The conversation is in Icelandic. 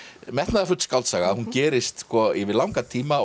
metnaðarfull skáldsaga hún gerist yfir langan tíma